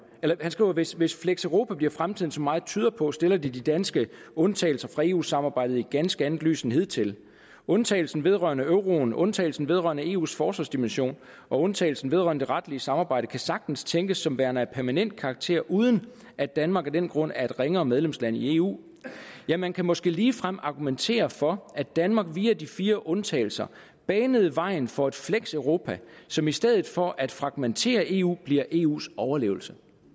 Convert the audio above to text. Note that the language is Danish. skriver hvis hvis fleks europa bliver fremtiden som meget tyder på stiller det de danske undtagelser fra eu samarbejdet i et ganske andet lys end hidtil undtagelsen vedrørende euroen undtagelsen vedrørende eus forsvarsdimension og undtagelsen vedrørende det retlige samarbejde kan sagtens tænkes som værende af permanent karakter uden at danmark af den grund er et ringere medlemsland i eu ja man kan måske ligefrem argumentere for at danmark via de fire undtagelser banede vejen for et fleks europa som i stedet for at fragmentere eu bliver eus overlevelse